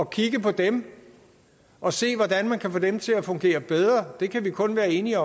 kigge på dem og se hvordan man kan få dem til at fungere bedre det kan vi kun være enige